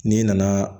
N'i nana